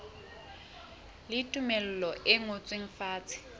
le tumello e ngotsweng fatshe